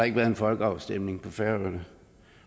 en folkeafstemning på færøerne